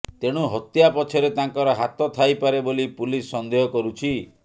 ତେଣୁ ହତ୍ୟା ପଛରେ ତାଙ୍କର ହାତ ଥାଇପାରେ ବୋଲି ପୁଲିସ ସନ୍ଦେହ କରୁଛି